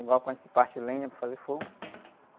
Igual quando se parte lenha para fazer fogo.